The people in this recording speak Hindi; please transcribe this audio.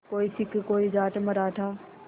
कोई सिख कोई जाट मराठा